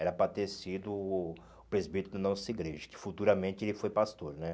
Era para ter sido presbítero da nossa igreja, que futuramente ele foi pastor né.